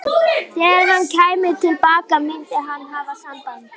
Þegar hann kæmi til baka myndi hann hafa samband.